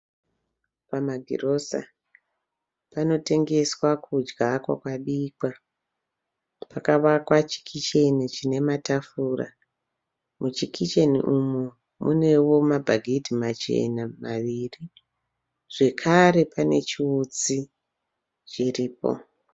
Pamagirosa. Panotengeswa kudya kwakabikwa. Pakavakwa chikicheni chine matafura. Muchikicheni umu munevo mabhagidhi machena maviri zvekare pane chiutsi chiripo.